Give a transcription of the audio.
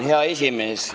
Hea esimees!